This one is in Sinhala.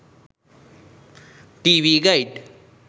tv guide